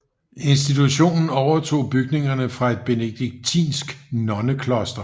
Institutionen overtog bygningerne fra et benediktinsk nonnekloster